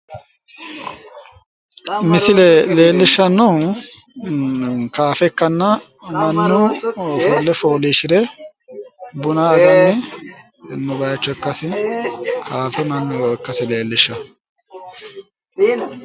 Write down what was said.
Misile leellishshannohu kaafe ikkanna Mannu ofolle fooliishshire buna aganno baaycho ikkasi kaafe mannu e"eeha ikkasi leellishshanno.